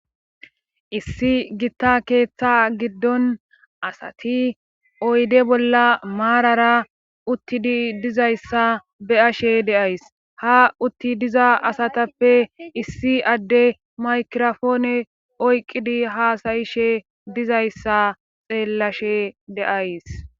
issi gitta keeththa giddon asati oyde bolla maarara uttidi dizayssa be'ashe de'ays ha utti diza asatappe issi adde makrofoone oyqqidi haasayishe dizayssa xeellashe de'ays